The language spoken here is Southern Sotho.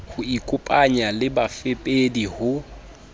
ho ikopanya le bafepedi ho